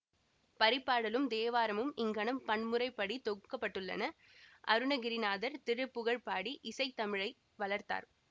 பரிபாடலும் தேவாரமும் இங்ஙனம் பண்முறைப் படி தொகுக்க பட்டுள்ளன அருணகிரிநாதர் திருப்புகழ் பாடி இசைத்தமிழை வளர்த்தார்